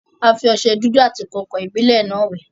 A fi ọsẹ dúdú àti kàǹkàn-ìbílẹ́ náà wẹ̀.